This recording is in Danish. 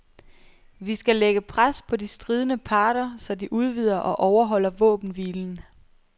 Vi skal lægge pres på de stridende parter, så de udvider og overholder våbenhvilen.